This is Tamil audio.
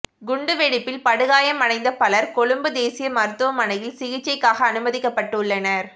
குண்டு வெடிப்பில் படுகாயமடைந்த பலர் கொழும்பு தேசிய மருத்துவமனையில் சிகிச்சைக்காக அனுமதிக்கப்பட்டுள்ளனர்